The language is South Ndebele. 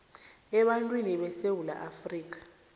ebantwini besewula afrika